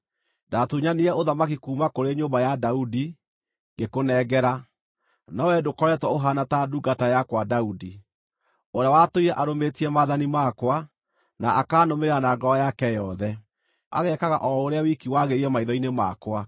Ndaatunyanire ũthamaki kuuma kũrĩ nyũmba ya Daudi, ngĩkũnengera, no wee ndũkoretwo ũhaana ta ndungata yakwa Daudi, ũrĩa watũire arũmĩtie maathani makwa, na akanũmĩrĩra na ngoro yake yothe, agekaga o ũrĩa wiki wagĩrĩire maitho-inĩ makwa.